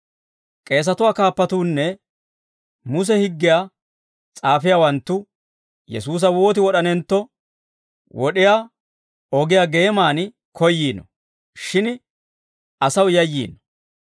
K'eesatuwaa kaappatuunne Muse higgiyaa s'aafiyaawanttu Yesuusa wooti wod'anentto, wod'iyaa ogiyaa geeman koyyiino; shin asaw yayyiino.